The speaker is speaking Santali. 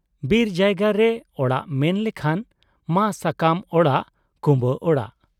ᱵᱤᱨ ᱡᱟᱭᱜᱟ ᱨᱮ ᱚᱲᱟᱜ ᱢᱮᱱ ᱞᱮᱠᱷᱟᱱ ᱢᱟ ᱥᱟᱠᱟᱢ ᱚᱲᱟᱜ ,ᱠᱩᱸᱵᱟᱹ ᱚᱲᱟᱜ ᱾